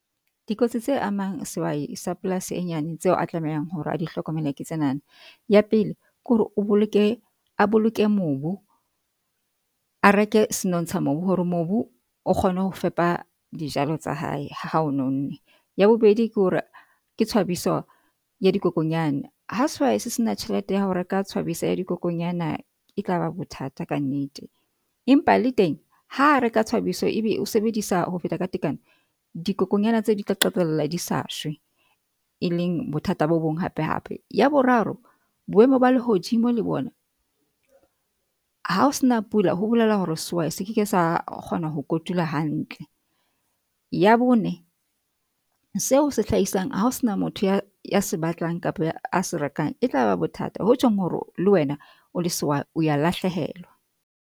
Dikotsi tse amang sehwai sa polasi e nyane tseo a tlamehang hore a di hlokomele. Ke tsena na, ya pele kore o boloke a boloke mobu. A reke senontsha mobu hore mobu o kgone ho fepa dijalo tsa hae, ha o nonne. Ya bobedi ke hore ke tshwabiswa ya dikokonyana ha sehwai se sena tjhelete ya ho reka tshwabisa ya dikokonyana e tlaba bothata ka nnete, empa le teng ha reka tshwabiso ebe o sebedisa ho feta ka tekano, dikokonyana tse di tla qetella di sa shwe, e leng bothata bo bong hape hape. Ya boraro boemo ba lehodimo le bona ha o sena pula ho bolela hore sehwai se ke ke sa kgona ho kotula hantle. Ya bone seo se hlaisang hao sena motho ya se batlang kapa a se rekang e tlaba bothata ho tjhong hore le wena o o wa lahlehelwa.